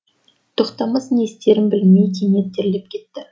тоқтамыс не істерін білмей кенет терлеп кетті